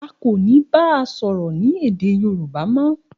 A ko ni ba A soro ni ede Yoruba mo.